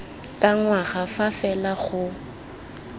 ka ngwaga fa fela go